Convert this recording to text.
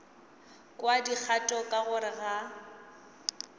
kwa dikgato ka gare ga